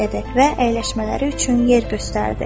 Və əyləşmələri üçün yer göstərdi.